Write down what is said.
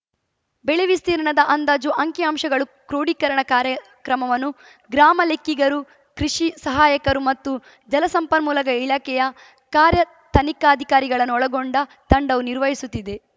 ಬೆಳೆ ವಿಸ್ತೀರ್ಣದ ಅಂದಾಜು ಅಂಕಿ ಅಂಶಗಳ ಕ್ರೋಢೀಕರಣ ಕಾರ್ಯಕ್ರಮವನ್ನು ಗ್ರಾಮ ಲೆಕ್ಕಿಗರು ಕೃಷಿ ಸಹಾಯಕರು ಮತ್ತು ಜಲ ಸಂಪನ್ಮೂಲಕ ಇಲಾಖೆಯ ಕಾರ್ಯ ತನಿಖಾಧಿಕಾರಿಗಳನ್ನೊಳಗೊಂಡ ತಂಡವು ನಿರ್ವಹಿಸುತ್ತಿದೆ